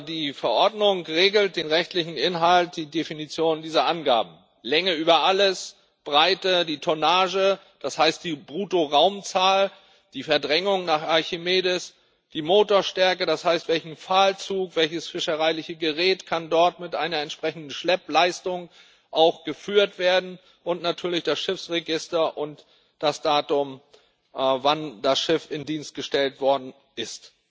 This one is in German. Die Verordnung regelt den rechtlichen Inhalt, die Definition dieser Angaben Länge über alles, Breite, die Tonnage das heißt, die Bruttoraumzahl die Verdrängung nach Archimedes, die Motorstärke das heißt, welcher Pfahlzug, welches fischereiliche Gerät kann dort mit einer entsprechenden Schleppleistung auch geführt werden und natürlich das Schiffsregister und das Datum, wann das Schiff in Dienst gestellt worden ist.